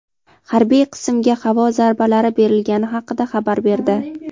harbiy qismga havo zarbalari berilgani haqida xabar berdi.